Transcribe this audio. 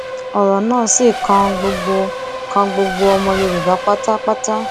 ọrọ náà sì kan gbogbo kan gbogbo ọmọ yorùbá pátápátá